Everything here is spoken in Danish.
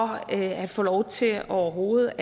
man kan få lov til overhovedet